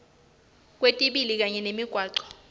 kwetibi kanye nemigwaco